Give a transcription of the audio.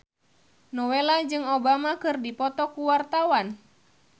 Nowela jeung Obama keur dipoto ku wartawan